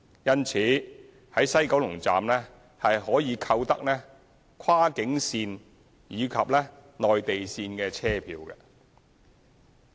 因此，在西九龍站可以購得跨境段及內地段車票。